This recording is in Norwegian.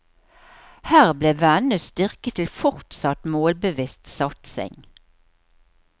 Her blir vennene styrket til fortsatt målbevisst satsing.